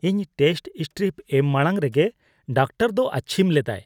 ᱤᱧ test strip ᱮᱢ ᱢᱟᱲᱟᱝ ᱨᱮᱜᱮ ᱰᱟᱠᱴᱚᱨ ᱫᱚ ᱟᱹᱪᱷᱤᱢ ᱞᱮᱫᱟᱭ ᱾